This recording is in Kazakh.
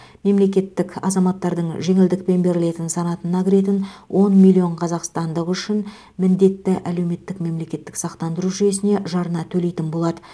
мемлекет азаматтардың жеңілдікпен берілетін санатына кіретін он миллион қазақстандық үшін міндетті әлеуметтік мемлекеттік сақтандыру жүйесіне жарна төлейтін болады